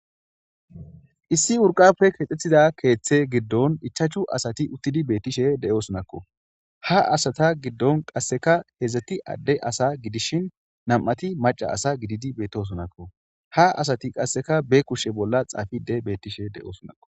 Issi wurqappe keexxettiza keeththe giddon ichachu asati uttidi bettishe de'osonakko ha asata giddon qasseka hedzeti adde asa gidishin namati maca asa gididi beettosonakko ha asati qasseka be kushe bolla xaafide bettishe de'osonako